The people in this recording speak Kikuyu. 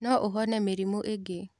No ũhone mĩrimũ ĩngĩ.